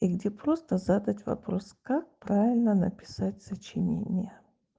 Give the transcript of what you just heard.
и где просто задать вопрос как правильно написать сочинение